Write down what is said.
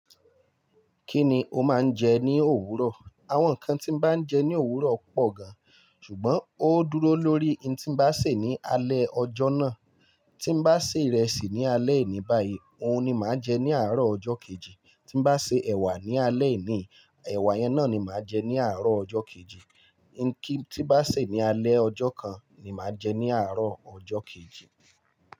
Kí ni o máa ń jẹ ní òwúrọ̀? Àwọn ǹkan tí n bá ń jẹ ní òwúrọ̀ pọ̀ gan-an, ṣùgbọ́n ó dúró lórí in tí n bá ṣè ní alẹ́ ọjọ́ náà. Tí n bá ṣè ìrẹsì ní alẹ́ ení báyi, òhun ni màá jẹ ní àárọ̀ ọjọ́ kejì. Tí n bá ṣè ẹ̀wà ní alẹ́ eníyi, ẹ̀wà yẹn náà ni màá jẹ ní àárọ̀ ọjọ́ kejì. Ǹki tí n bá ṣè ní alẹ́ ọjọ́ kan ni màá jẹ ní àárọ̀ ọjọ́ kejì.